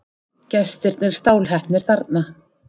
Gestirnir stálheppnir þarna.